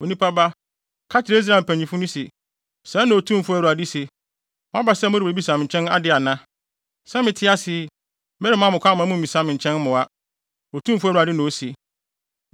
“Onipa ba, kasa kyerɛ Israel mpanyimfo no se: ‘Sɛɛ na Otumfo Awurade se: Moaba sɛ morebebisa me nkyɛn ade ana? Sɛ mete ase yi, meremma mo kwan ma mummisa me nkyɛn mmoa, Otumfo Awurade na ose.’